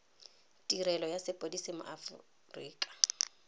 tirelo ya sepodisi mo aforika